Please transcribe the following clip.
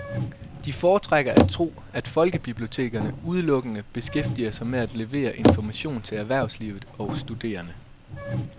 De foretrækker at tro, at folkebibliotekerne udelukkende beskæftiger sig med at levere information til erhvervslivet og studerende.